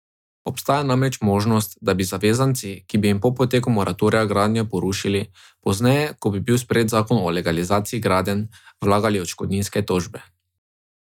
Obstaja namreč možnost, da bi zavezanci, ki bi jim po poteku moratorija gradnjo porušili, pozneje, ko bi bil sprejet zakon o legalizaciji gradenj, vlagali odškodninske tožbe.